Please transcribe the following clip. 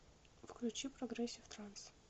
включи прогрессив транс